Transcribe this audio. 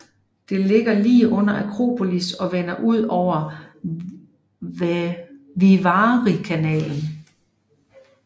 Det ligger lige under Akropolis og vender ud over Vivarikanalen